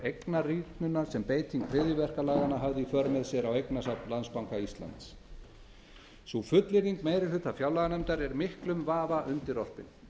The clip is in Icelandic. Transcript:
eignarýrnunar sem beiting hryðjuverkalaganna hafði í för með sér á eignasafn landsbanka íslands sú fullyrðing meiri hluta fjárlaganefndar er miklum vafa undirorpin